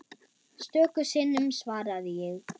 Stöku sinnum svaraði ég.